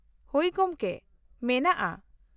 ᱦᱳᱭ, ᱜᱚᱝᱠᱮ, ᱢᱮᱱᱟᱜᱼᱟ ᱾